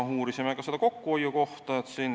Uurisime ka kokkuhoiu kohta.